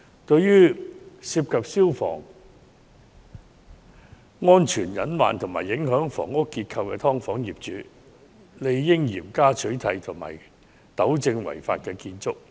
對於涉及消防安全隱患及影響房屋結構的"劏房"，政府理應嚴加取締，並飭令相關業主糾正違法建築。